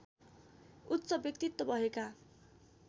उच्च व्यक्तित्व भएका